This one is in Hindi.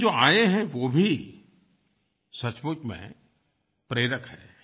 लेकिन जो आये हैं वो भी सचमुच में प्रेरक हैं